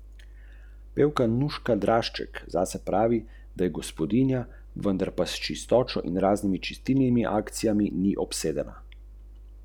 V bistvu tega nihče natančno ne ve.